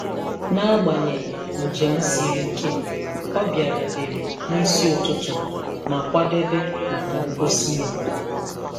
N'agbanyeghị njem siri ike, ọ bịarutere n'isi ụtụtụ ma kwadebe maka ngosi ya.